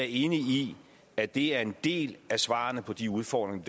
enig i at det er en del af svarene på de udfordringer